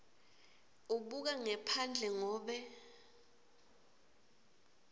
ubuka ngephandle ngobe